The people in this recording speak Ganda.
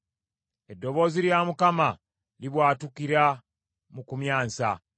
Eddoboozi lya Mukama libwatukira mu kumyansa.